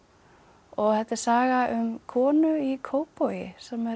og þetta er saga um konu í Kópavogi sem er